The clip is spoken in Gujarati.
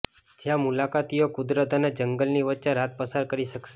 જ્યાં મુલાકાતીઓ કુદરત અને જંગલની વચ્ચે રાત પસાર કરી શકશે